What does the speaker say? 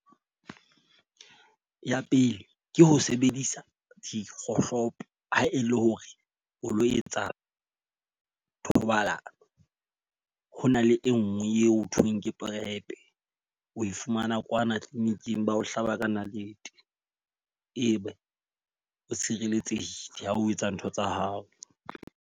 Ya pele, ke ho sebedisa dikgohlopo ha e le hore o lo etsa thobalano. Ho na le e nngwe eo ho thweng ke prep, o fumana kwana clinic-ing ba o hlaba ka nalete. E be o tshireletsehe ha o etsa ntho tsa hao.